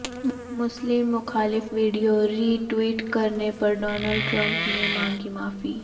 مسلم مخالف video retweet کرنے پر ڈونالڈ ٹرمپ نے مانگی معافی